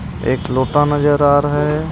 एक लोटा नजर आ रहा है.